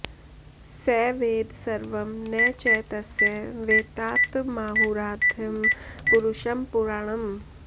स वेद सर्वं न च तस्य वेत्तातमाहुराद्यं पुरुषं पुराणम्